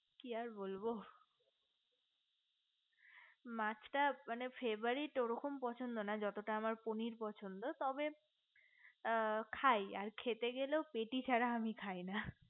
কি আর বলবো মাছটা মানে favorite ওরকম পছন্দ না যতটা না আমার পনির পছন্দ তবে খাই আর খেতে গেলেও পেটি ছাড়া আমি খাই না